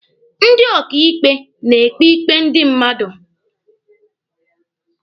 Ndị ọkàikpe na-ekpe ikpe ndị mmadụ.